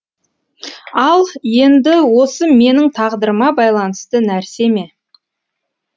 ал енді осы менің тағдырыма байланысты нәрсе ме